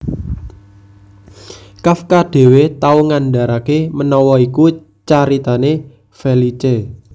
Kafka dhéwé tau ngandharaké menawa iku caritané Felice